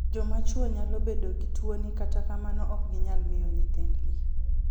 Joma chuo nyalo bedo gi tuoni kata kamano ok ginyal miye nyithind gi.